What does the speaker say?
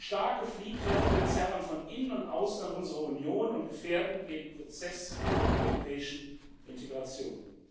Starke Fliehkräfte zerren von innen und außen an unserer Union und gefährden den Prozess der europäischen Integration.